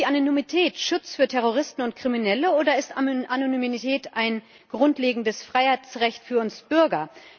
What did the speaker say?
Ist Anonymität Schutz für Terroristen und Kriminelle, oder ist Anonymität ein grundlegendes Freiheitsrecht für uns Bürger?